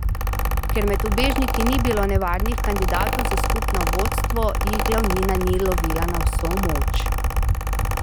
Ker med ubežniki ni bilo nevarnih kandidatov za skupno vodstvo, jih glavnina ni lovila na vso moč.